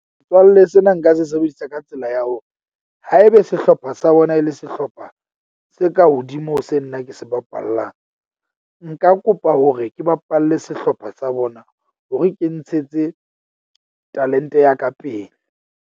Metswalle sena nka se sebedisa ka tsela ya hore, haebe sehlopha sa bona e le sehlopha se ka hodimo ho se nna ke se bapallang, nka kopa hore ke bapalle sehlopha sa bona hore ke ntshetse talent-e ya ka pele.